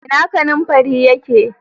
Ina kananfarin ya ke?